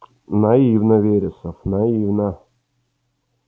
наивно вересов наивно